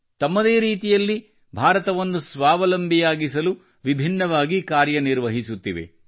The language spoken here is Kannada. ತಮ್ಮದೇ ರೀತಿಯಲ್ಲಿ ಭಾರತವನ್ನು ಸ್ವಾವಲಂಬಿಯಾಗಿಸಲು ವಿಭಿನ್ನವಾಗಿ ಕಾರ್ಯ ನಿರ್ವಹಿಸುತ್ತಿವೆ